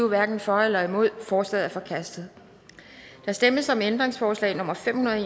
hverken for eller imod stemte forslaget er forkastet der stemmes om ændringsforslag nummer fem hundrede og